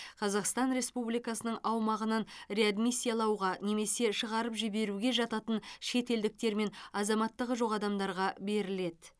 қазақстан республикасының аумағынан реадмиссиялауға немесе шығарып жіберуге жататын шетелдіктер мен азаматтығы жоқ адамдарға беріледі